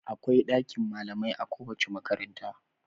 Akwai ɗakin malamai a kowace makaranta..